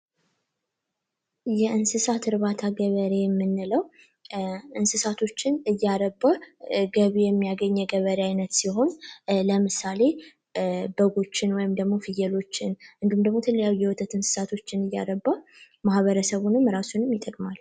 የእንሰሳት እርባታ ገበሬ የምንለው እንስሳቶችን እያረባ ገቢ የሚያገኝ የገበሬ አይነት ሲሆን ለምሳሌ በጎችን ወይም ደግሞ ፍየሎችን እንዲሁም ደግሞ የተለያዩ የወተት እንስሳቶችን እያረባ ማህበረሰቡንም ራሱንም ይጠቅማል።